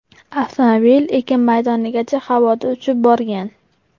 Avtomobil ekin maydonigacha havoda uchib borgan.